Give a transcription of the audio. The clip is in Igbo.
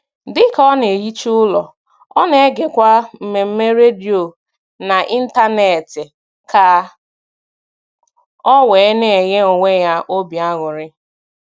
Dịka ọ na - ehicha ụlọ, ọ na-egekwa mmemme redio n'Ịntanet ka ọ wee na - enye onwe ya obi aṅụrị.